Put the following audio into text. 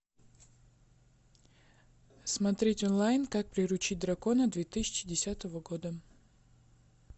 смотреть онлайн как приручить дракона две тысячи десятого года